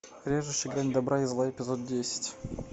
режущий грань добра и зла эпизод десять